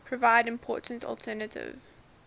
provide important alternative